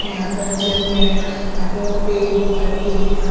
यहां पर जब में यहां पे पेड़ पट्टे दिख रहे है।